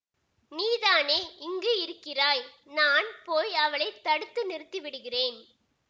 நீதானே இங்கு இருக்கிறாய் நான் போய் அவளை தடுத்து நிறுத்தி விடுகிறேன்